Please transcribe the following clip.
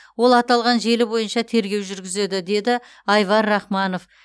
ол аталған желі бойынша тергеу жүргізеді деді айвар рахманов